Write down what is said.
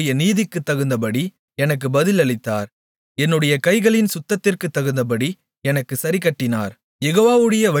யெகோவா என்னுடைய நீதிக்குத்தகுந்தபடி எனக்கு பதில் அளித்தார் என்னுடைய கைகளின் சுத்தத்திற்குத்தகுந்தபடி எனக்குச் சரிக்கட்டினார்